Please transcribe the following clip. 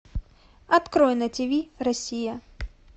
открой на тв россия